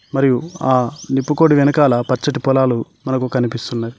మరియు ఆ నిప్పుకోడి వెనకాల పచ్చటి పొలాలు మనకు కనిపిస్తున్నాయి.